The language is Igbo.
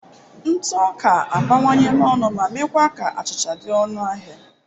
Ntụ ọka abawanyela ọnụ ma meekwa ka achịcha achịcha dị ọnụ ahịa.